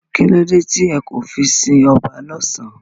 Kílódé tí e kò fí n si oba lósán?